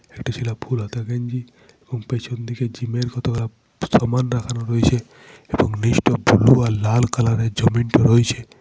একটি ছেলা ফুল হাতা গেঞ্জি এবং পেছন দিকে জিম -এর কতগুলা সামান রাখানো রইছে এবং নীচটা ব্লু আর লাল কালার -এর জমিনটা রোইছে।